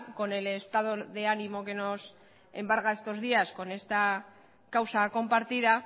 con el estado de ánimo que nos embarga estos días con esta causa compartida